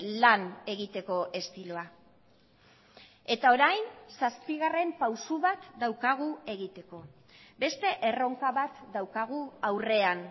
lan egiteko estiloa eta orain zazpigarren pausu bat daukagu egiteko beste erronka bat daukagu aurrean